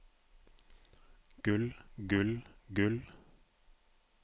gull gull gull